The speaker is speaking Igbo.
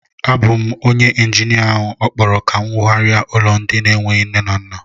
Ọ bu m bu onyé injinia áhù okpọrọ ka m wụgharia ụlọ ndị n'enweghị nne na nna